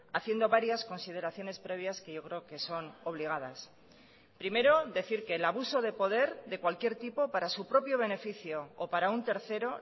haciendo varias consideraciones previas que yo creo que son obligadas primero decir que el abuso de poder de cualquier tipo para su propio beneficio o para un tercero